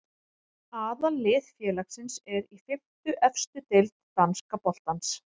Aðallið félagsins er í fimmtu efstu deild danska boltans.